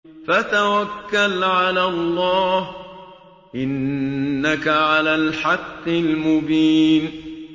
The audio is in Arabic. فَتَوَكَّلْ عَلَى اللَّهِ ۖ إِنَّكَ عَلَى الْحَقِّ الْمُبِينِ